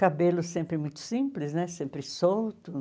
Cabelo sempre muito simples né, sempre solto.